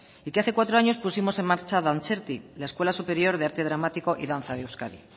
y que hace cuatro años pusimos en marcha dantzerti la escuela superior de arte dramático y danza de euskadi